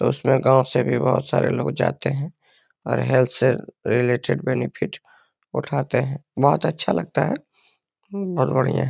उसमें गांवों से भी बहुत सारे लोग जाते हैं और हेल्थ से रिलेटेड बेनिफिट उठाते हैं। बहुत अच्छा लगता है बहुत बढ़िया।